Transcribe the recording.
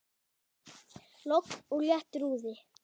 Logn og léttur úði.